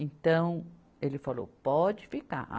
Então, ele falou, pode ficar.